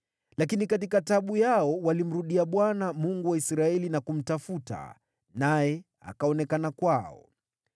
Lakini katika taabu yao walimrudia Bwana , Mungu wa Israeli na kumtafuta, naye akaonekana kwao.